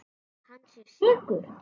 Að hann sé sekur?